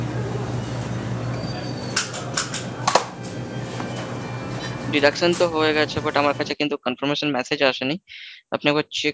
deduction তো হয়ে গেছে but আমার কাছে কিন্তু conference message আসেনি, আপনি একবার check